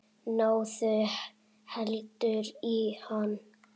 Náðu heldur í hann.